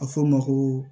A fɔ o ma ko